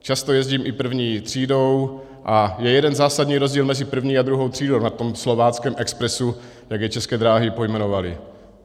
Často jezdím i první třídou - a je jeden zásadní rozdíl mezi první a druhou třídou na tom Slováckém expresu, jak je České dráhy pojmenovaly.